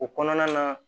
O kɔnɔna na